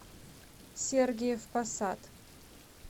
сергиев посад